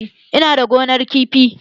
Ina da gonar kifi